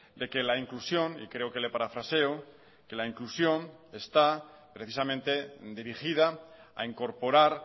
de que la inclusión y creo que le parafraseo que la inclusión está precisamente dirigida a incorporar